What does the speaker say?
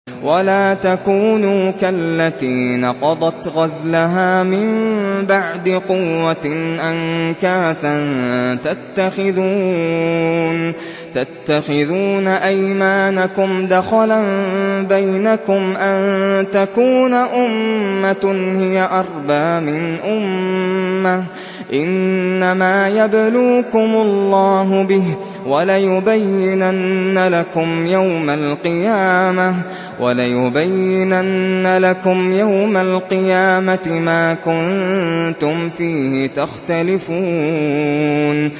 وَلَا تَكُونُوا كَالَّتِي نَقَضَتْ غَزْلَهَا مِن بَعْدِ قُوَّةٍ أَنكَاثًا تَتَّخِذُونَ أَيْمَانَكُمْ دَخَلًا بَيْنَكُمْ أَن تَكُونَ أُمَّةٌ هِيَ أَرْبَىٰ مِنْ أُمَّةٍ ۚ إِنَّمَا يَبْلُوكُمُ اللَّهُ بِهِ ۚ وَلَيُبَيِّنَنَّ لَكُمْ يَوْمَ الْقِيَامَةِ مَا كُنتُمْ فِيهِ تَخْتَلِفُونَ